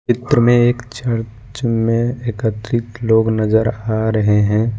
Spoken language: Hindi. चित्र में एक चर्च में एकत्रित लोग नजर आ रहे हैं।